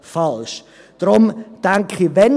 Deshalb denke ich: